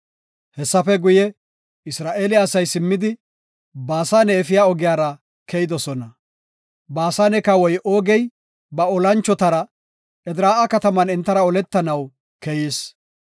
Hessafe guye, Isra7eele asay simmidi, Baasane efiya ogiyara keyidosona. Baasane kawoy Oogey ba olanchotara Edraa7a kataman entara oletanaw keyis.